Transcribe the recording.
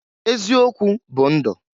Eziokwu bụ ndu.